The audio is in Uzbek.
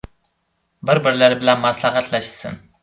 Bir-birlari bilan maslahatlashsin.